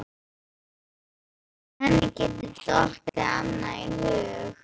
Hvernig henni geti dottið annað í hug?